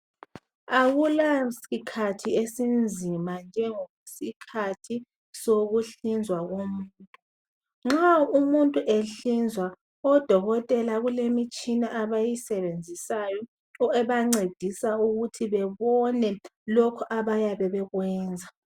Akula sikhathi esinzima njengesikhathi sokuhlinzwa komuntu. Nxa umuntu ehlinzwa odokotela kulemtshina abayisebenzisayo ebancedisa ukuthi bebone lokhu abayabe bekwenza.